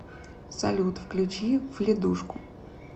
салют включи вледушку